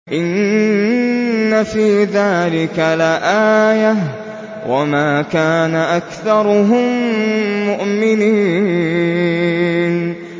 إِنَّ فِي ذَٰلِكَ لَآيَةً ۖ وَمَا كَانَ أَكْثَرُهُم مُّؤْمِنِينَ